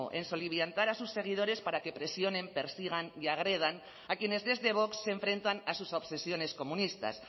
en soliviantar a sus seguidores persigan y agredan a quienes desde vox se enfrentan a sus obsesiones comunistas